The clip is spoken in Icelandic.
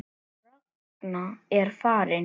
Ragna er farin.